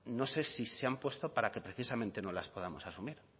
no sé si se han puesto para que precisamente no las podamos asumir